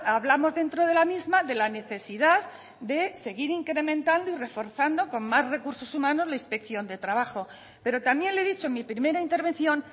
hablamos dentro de la misma de la necesidad de seguir incrementando y reforzando con más recursos humanos la inspección de trabajo pero también le he dicho en mi primera intervención